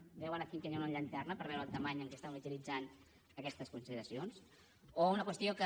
ho veuen aquí que hi ha una llanterna per veure la grandària amb què estem utilitzant aquestes consideracions o una qüestió que